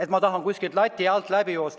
Ma nagu tahan kuskilt lati alt läbi joosta.